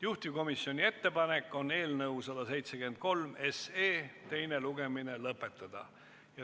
Juhtivkomisjoni ettepanek on eelnõu 173 teine lugemine lõpetada.